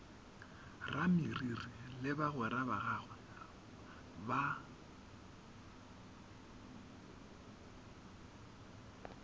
rameriri le bagwera bagagwe ba